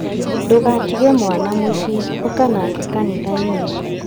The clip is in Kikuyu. Ndũgatige mwana mũciĩ, ũka nake kanitha-inĩ